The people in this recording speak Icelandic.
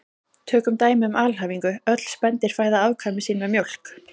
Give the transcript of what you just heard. Tökum dæmi um alhæfingu: Öll spendýr fæða afkvæmi sín með mjólk